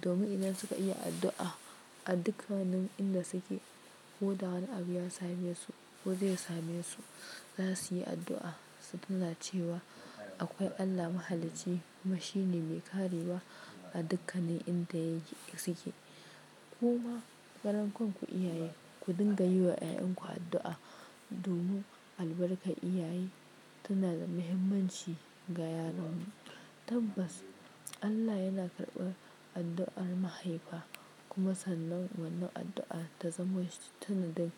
Domin idan suka iya addu'a, a dukkanin inda suke, ko da wani abu ya same su, ko zai same su, za su yi addu'a su tina cewa akwai Allah mahalicci kuma shine mai karewa a dukkanin inda yake suke. Kuma karan kanku iyaye, ku dinga yiwa 'ya'yan ku addu'a. Domin albarkar iyaye tana da muhimmanci ga yaran mu. Tabbas Allah yana karɓar addu'ar mahaifa kuma sannan wannan addu'a ta zama sanadin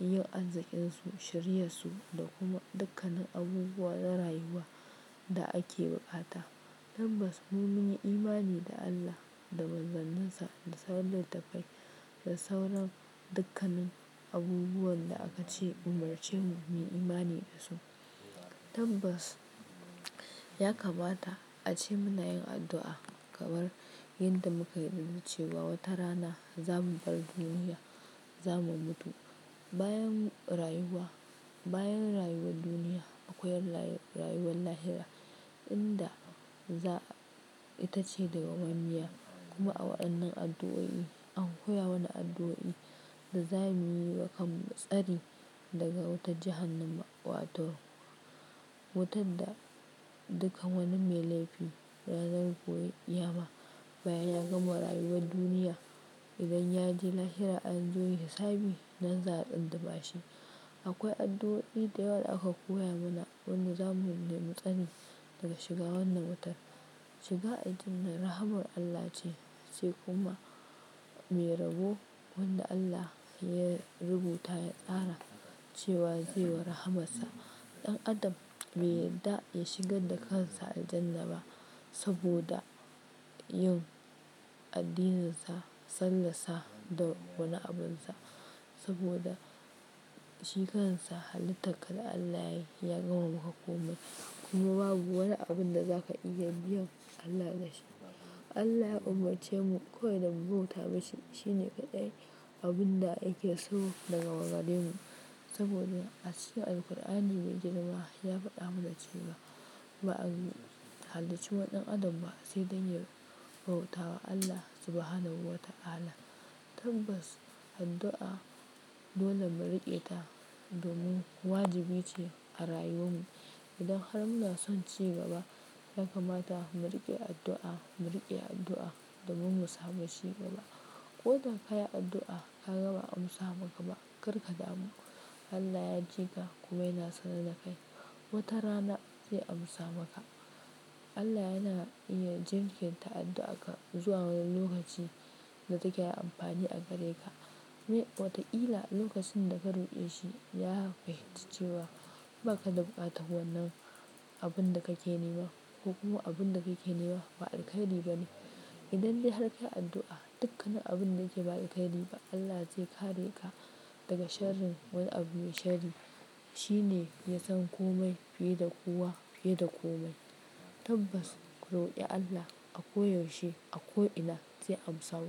yin arzikinsu, shiriyar su da kuma dukkanin abubuwa na rayuwa da ake buƙata. Tabbas mu mun yi imani da Allah da manzanninsa da sauran littattafai da sauran dukkanin abubuwan da aka ce umarce mu muyi imani da su. Tabbas ya kamata ace muna yin addu'a, kamar yanda muka yarda cewa wata rana za mu bar duniya, za mu mutu. Bayan rayuwa, bayan rayuwar duniya akwai rayuwar lahira inda za itace dawwa mammiya. Kuma a waɗannan addu'o'i an koya mana addu'o'i da za mu nemi tsari daga wutar jahannama, wato wutar da dukkan wani mai laifi ranar gobe ƙiyama bayan ya gama rayuwar duniya. Idan ya je lahira anzo yin hisabi nan za a tsundumashi. Akwai addu'o'i da yawa da aka koya mana wanda za mu nemi tsari daga shiga wannan wutar. Shiga Aljannah rahamar Allah ce, sai kuma mai rabo wanda Allah ya rubuta ya tsara cewa zai wa rahamarsa. Ɗan adam bai yarda ya shigar da kansa aljanna ba saboda yin addininsa, sallahr sa da wani abunsa. Saboda shi kansa halittar ka da Allah yayi ya gama maka komai. Kuma babu wani abun da zaka iya biyan Allah da shi. Allah ya umarce mu kawai da mu bauta mishi, shine kaɗai abun da yake so daga gare mu. Saboda acikin Alqur'ani me girma ya faɗa mana cewa ba'a halicci wani ɗan adam ba, sai dan ya bautawa Allah Subhanahu wa ta'ala. Tabbas addu'a dole mu riƙe ta domin wajibi ce a rayuwan mu. Idan har muna son ci gaba, ya kamata mu riƙe addu'a, mu riƙe addu'a domin mu samu ci gaba. Ko da ka yi addu'a ka gama ba'a amsa maka ba, kar ka damu. Allah ya ji ka kuma yana sana dakai wata rana zai amsa maka. Allah yana iya jinkirta addu'ar ka zuwa wani lokaci da take da amfani a gare ka. Wataƙila lokacin da ka roƙe shi, ya fahimci cewa ba ka da buƙatar wannan abun da kake nema ko kuma abun da kake nema ba alkhairi ba ne. Idan dai har ka yi addu'a, dukkanin abun da yake ba alkhairi ba, Allah zai kare ka daga sharrin wani abu mai sharri. Shi ne ya san komai fiye da kowa, fiye da komai. Tabbas ku roƙi Allah a koda yaushe, a ko ina zai amsa ku.